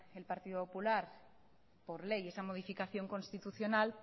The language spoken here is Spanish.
el partido popular por ley esa modificación constitucional